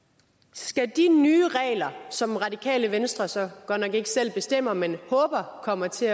skal de nye regler som radikale venstre så godt nok ikke selv bestemmer men håber kommer til